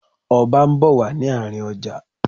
Ọba ń bọ̀ wá sí àárín ọjà.